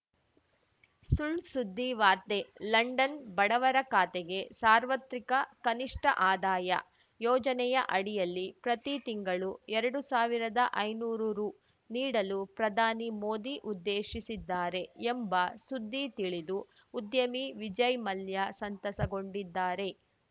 ಸುಳ್‌ಸುದ್ದಿ ವಾರ್ತೆ ಲಂಡನ್‌ ಬಡವರ ಖಾತೆಗೆ ಸಾರ್ವತ್ರಿಕ ಕನಿಷ್ಠ ಆದಾಯ ಯೋಜನೆಯ ಅಡಿಯಲ್ಲಿ ಪ್ರತಿ ತಿಂಗಳು ಎರಡು ಸಾವಿರದಾ ಐನೂರು ರು ನೀಡಲು ಪ್ರಧಾನಿ ಮೋದಿ ಉದ್ದೇಶಿಸಿದ್ದಾರೆ ಎಂಬ ಸುದ್ದಿ ತಿಳಿದು ಉದ್ಯಮಿ ವಿಜಯ್‌ ಮಲ್ಯ ಸಂತಸಗೊಂಡಿದ್ದಾರೆ